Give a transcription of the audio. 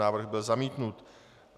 Návrh byl zamítnut.